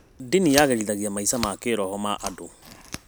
Ndini yagĩrithagia maica ma kĩroho ma andũ.